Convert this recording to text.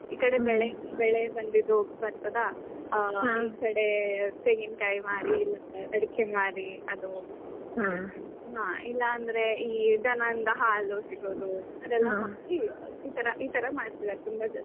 ಈ ಕಡೆ ಬೆಳೆ ಬೆಳೆ ಬಂದಿದ್ದು ಬರ್ತದಾ . ಒಂದ್ ಕಡೆ ತೆಂಗಿನಕಾಯಿ ಮಾರಿ, ಅಡಿಕೆ ಮಾರಿ ಅದು ಇಲ್ಲ ಅಂದ್ರೆ ದನಂದ್ ಹಾಲು ಸಿಗೋದು ಇತರ ಇತರ ಮಾಡ್ತಿದ್ದಾರೆ ತುಂಬಾ ಜನ.